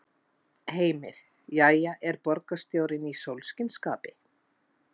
Heimir: Jæja, er borgarstjórinn í sólskinsskapi?